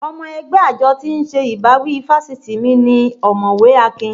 Ọmọ ẹgbẹ́ àjọ tí ń ṣe ìbáwí fáṣitì mi ni ọ̀mọ̀wẹ́ Akin